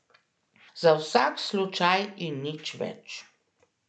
Za vsak slučaj in nič več.